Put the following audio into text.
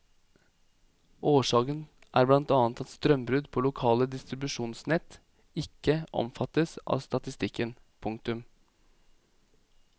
Årsaken er blant annet at strømbrudd på lokale distribusjonsnett ikke omfattes av statistikken. punktum